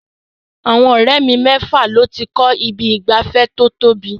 Àwọn ọ̀rẹ́ mi mẹ́fà ló ti kọ́ ibi ìgbafẹ́ tó tóbi.